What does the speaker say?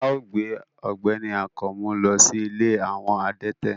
Ao gbe ọgbẹni Akanmu lo si ìlé awọ adẹtẹ